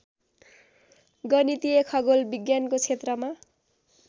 गणितीय खगोल विज्ञानको छेत्रमा